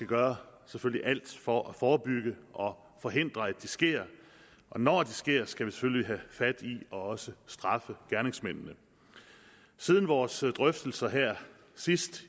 gøre alt for at forebygge og forhindre at det sker og når det sker skal vi selvfølgelig have fat i og også straffe gerningsmændene siden vores drøftelser sidst